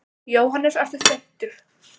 Jóhannes: Ertu þreyttur?